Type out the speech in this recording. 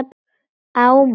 Á mann.